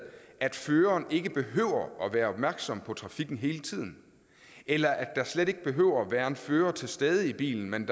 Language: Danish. at føreren ikke behøver at være opmærksom på trafikken hele tiden eller at der slet ikke behøver at være en fører til stede i bilen men